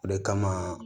O de kama